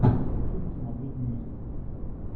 хочу посмотреть мюзикл